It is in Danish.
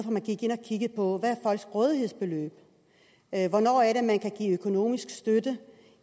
vi gik ind og kiggede på hvad folks rådighedsbeløb er hvornår er det man kan give økonomisk støtte